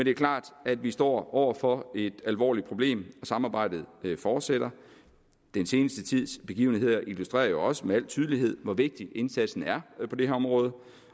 er klart at vi står over for et alvorligt problem og samarbejdet fortsætter den seneste tids begivenheder illustrerer jo også med al tydelighed hvor vigtig indsatsen er på det her område